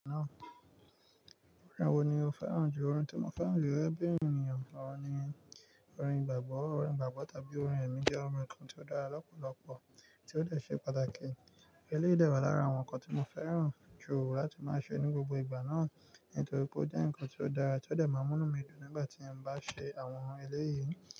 Orin wo ni o fẹ́ràn jù? Orin tí mo fẹ́ràn jù gẹ́gẹ́ bí ènìyàn kàn ni orin ìgbàgbọ́. Orin gbàgbọ́ tàbí orin ẹ̀mí jẹ́ orin kan tí ó dára lọ́pọ̀lọpọ̀ tí ó dẹ̀ ṣe pàtàkì. Eléyìí dẹ̀ wà lára àwọn nǹkan tí mo fẹ́ràn jù láti máa ṣe ní gbogbo ìgbà náà, nítorí pé ó jẹ́ ǹkan tí ó dára tí ó dẹ̀ máa ń múnú mi dùn nígbà tí mo bá ṣe àwọn eléyìí.